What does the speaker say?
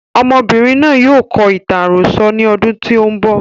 Ọmọbìnrin náà yóò kọ ìtàn àròsọ ní ọdún tí o ń bọ̀.